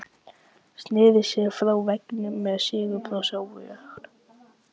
Sneri sér frá veggnum með sigurbros á vör.